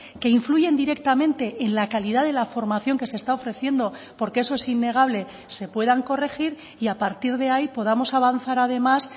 que influyen directamente en la calidad de la formación que se está ofreciendo porque eso es innegable se puedan corregir y a partir de ahí podamos avanzar además